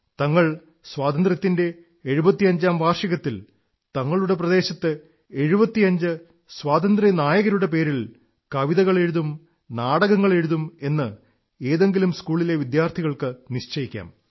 തങ്ങൾ സ്വാതന്ത്ര്യത്തിന്റെ എഴുപത്തഞ്ചാം വാർഷികത്തിൽ തങ്ങളുടെ പ്രദേശത്ത് 75 സ്വാതന്ത്ര്യനായകരുടെ പേരിൽ കവിതകൾ എഴുതും നാടകങ്ങൾ എഴുതും എന്ന് ഏതെങ്കിലും സ്കൂളിലെ വിദ്യാർഥികൾക്ക് നിശ്ചയിക്കാം